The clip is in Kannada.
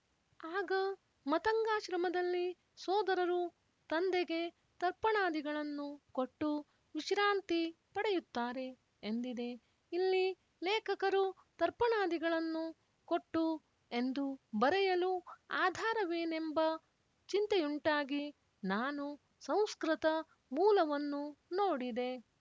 ಆಗ ಮತಂಗಾಶ್ರಮದಲ್ಲಿ ಸೋದರರು ತಂದೆಗೆ ತರ್ಪಣಾದಿಗಳನ್ನು ಕೊಟ್ಟು ವಿಶ್ರಾಂತಿ ಪಡೆಯುತ್ತಾರೆ ಎಂದಿದೆ ಇಲ್ಲಿ ಲೇಖಕರು ತರ್ಪಣಾದಿಗಳನ್ನು ಕೊಟ್ಟು ಎಂದು ಬರೆಯಲು ಆಧಾರವೇನೆಂಬ ಚಿಂತೆಯುಂಟಾಗಿ ನಾನು ಸಂಸ್ಕೃತ ಮೂಲವನ್ನು ನೋಡಿದೆ